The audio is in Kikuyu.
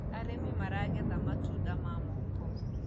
arĩmi maragetha matunda ma moko